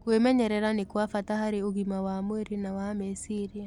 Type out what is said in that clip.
Kwĩmenyerera nĩ kwa bata harĩ ũgima wa mwĩrĩ na wa meciria.